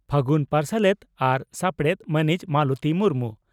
ᱯᱷᱟᱹᱜᱩᱱ ᱯᱟᱟᱨᱥᱟᱞᱮᱛ ᱟᱨ ᱥᱟᱯᱲᱮᱛ ᱢᱟᱹᱱᱤᱡ ᱢᱟᱞᱚᱛᱤ ᱢᱩᱨᱢᱩ